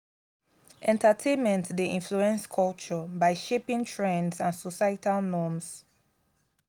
entertainment dey influence culture by shaping trends and societal norms.